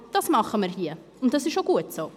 Aber das tun wir hier, und das ist auch gut so.